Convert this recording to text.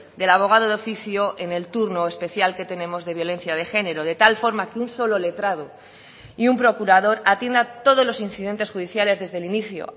del abogado de oficio en el turno especial que tenemos de violencia de género de tal forma que un solo letrado y un procurador atienda todos los incidentes judiciales desde el inicio